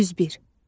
101.